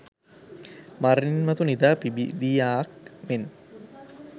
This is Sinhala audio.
මරණින් මතු නිදා පිබිදියාක් මෙන්